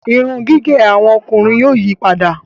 Irun gígé àwọn ọkùnrin yóò yípadà